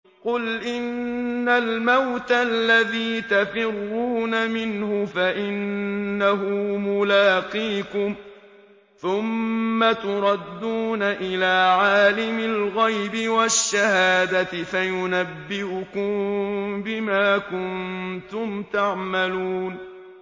قُلْ إِنَّ الْمَوْتَ الَّذِي تَفِرُّونَ مِنْهُ فَإِنَّهُ مُلَاقِيكُمْ ۖ ثُمَّ تُرَدُّونَ إِلَىٰ عَالِمِ الْغَيْبِ وَالشَّهَادَةِ فَيُنَبِّئُكُم بِمَا كُنتُمْ تَعْمَلُونَ